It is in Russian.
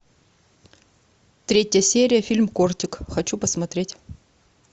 третья серия фильм кортик хочу посмотреть